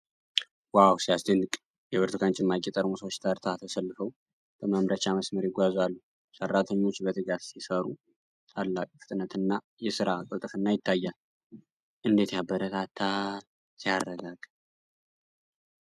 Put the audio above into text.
ዋው ሲያስደንቅ! የብርቱካን ጭማቂ ጠርሙሶች ተርታ ተሰልፈው በማምረቻ መስመር ይጓዛሉ። ሠራተኞች በትጋት ሲሠሩ፣ ታላቅ ፍጥነትና የሥራ ቅልጥፍና ይታያል። እንዴት ያበረታታል! ሲያረጋጋ!